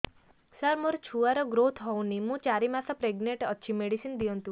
ସାର ମୋର ଛୁଆ ର ଗ୍ରୋଥ ହଉନି ମୁ ଚାରି ମାସ ପ୍ରେଗନାଂଟ ଅଛି ମେଡିସିନ ଦିଅନ୍ତୁ